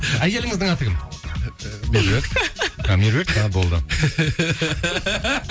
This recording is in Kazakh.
әйеліңіздің аты кім ііі меруерт а меруерт пе а болды